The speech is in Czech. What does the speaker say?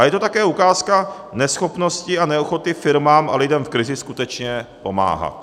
A je to také ukázka neschopnosti a neochoty firmám a lidem v krizi skutečně pomáhat.